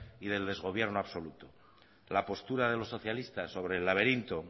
y del desgobierno absoluto la postura de los socialistas sobre el laberinto